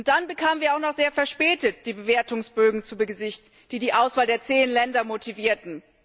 Dann bekamen wir auch noch sehr verspätet die Bewertungsbögen zu Gesicht, die die Auswahl der zehn Länder motivierten.